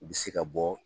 U bɛ se ka bɔ